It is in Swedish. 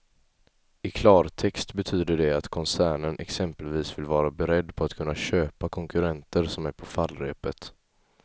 I klartext betyder det att koncernen exempelvis vill vara beredd på att kunna köpa konkurrenter som är på fallrepet.